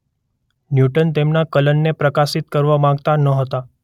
newton તેમના કલનને પ્રકાશિત કરવા માગતા નહોતા